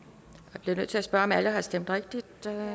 jeg bliver nødt til at spørge om alle har stemt rigtigt